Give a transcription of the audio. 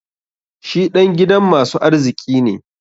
Shi dan gidan masu arziki ne.